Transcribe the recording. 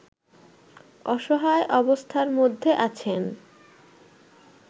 অসহায় অবস্থার মধ্যে আছেন